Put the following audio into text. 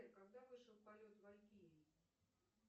когда вышел полет валькирий